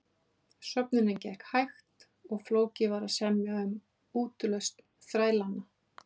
Söfnunin gekk hægt og flókið var að semja um útlausn þrælanna.